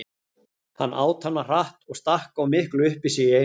Hann át hana hratt og stakk of miklu upp í sig í einu.